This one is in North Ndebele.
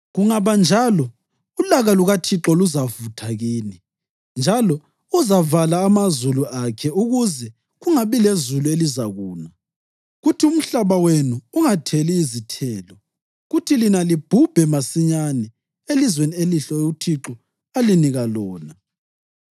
Kungaba njalo ulaka lukaThixo luzavutha kini, njalo uzavala amazulu akhe ukuze kungabi lezulu elizakuna kuthi umhlaba wenu ungatheli izithelo, kuthi lina libhubhe masinyane elizweni elihle uThixo alinika lona.